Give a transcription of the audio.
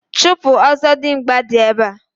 Chupu Ọzọdimgba di ebe a.